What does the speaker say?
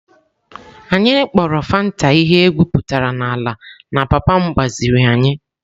Anyị kpọrọ Fanta ihe egwuputara n'ala na papa m gbaziri anyị.